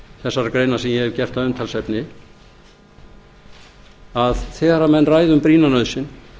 ég hef gert að umtalsefni er þeirrar skoðunar að þegar menn ræða um brýna nauðsyn